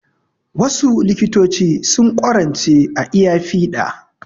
Wasu likitoci sun ƙwarance a iya fiɗa